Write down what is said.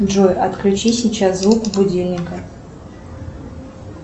джой отключи сейчас звук будильника